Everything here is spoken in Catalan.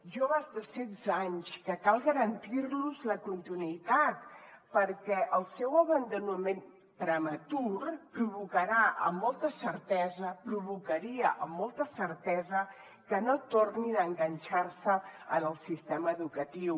joves de setze anys que cal garantir los la continuïtat perquè el seu abandonament prematur provocarà amb molta certesa provocaria amb molta certesa que no tornin a enganxar se en el sistema educatiu